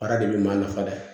Baara de bɛ maa nafa dɛ